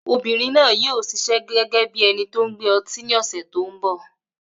Obìnrin náà yóò ṣiṣẹ́ gẹ́gẹ́ bí ẹni tó n gbé ọtí ni ọ̀sẹ̀ tó n bọ̀